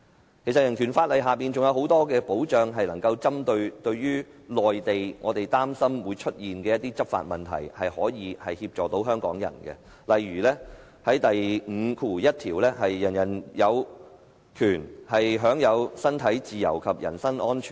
其實香港人權法案還提供很多保障，可針對我們擔心會出現的有關內地人員執法的問題，為香港人提供協助，例如第五條第一款訂明："人人有權享有身體自由及人身安全。